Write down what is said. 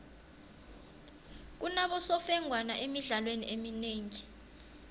kunabosemfengwana emidlalweni eminengi